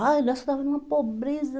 Ah, nós estava numa pobreza.